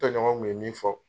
Tɛɲɔgɔn kun ye min fɔ